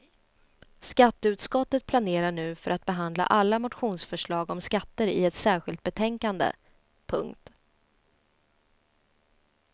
Skatteutskottet planerar nu för att behandla alla motionsförslag om skatter i ett särskilt betänkande. punkt